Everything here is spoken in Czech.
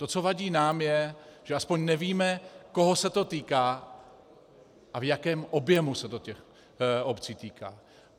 To, co uvádí nám, je, že aspoň nevíme, koho se to týká a v jakém objemu se to těch obcí týká.